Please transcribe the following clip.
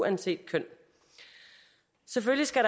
uanset køn selvfølgelig skal